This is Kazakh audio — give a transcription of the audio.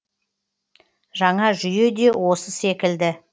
жаңа жүйе де осы секілді